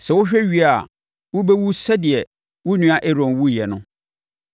Sɛ wohwɛ wie a, wobɛwu sɛdeɛ wo nua Aaron wuiɛ no,